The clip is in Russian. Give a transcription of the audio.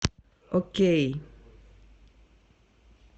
окей